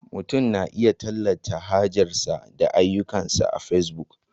Mutum na iya tallata hajarsa da ayyukansa a Facebook